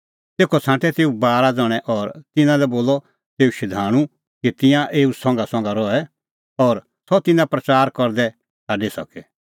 तेखअ छ़ांटै तेऊ बारा ज़ण्हैं और तिन्नां लै बोलअ तेऊ शधाणूं कि तिंयां तेऊ संघासंघा रहे और सह तिन्नां प्रच़ार करदै छ़ाडी सके